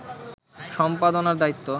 সম্পাদনার দায়িত্ব